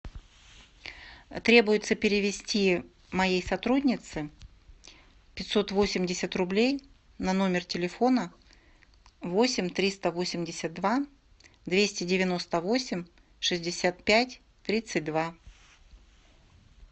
требуется перевести моей сотруднице пятьсот восемьдесят рублей на номер телефона восемь триста восемьдесят два двести девяносто восемь шестьдесят пять тридцать два